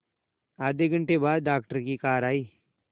आधे घंटे बाद डॉक्टर की कार आई